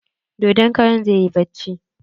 Dodon karan zai yi bacci.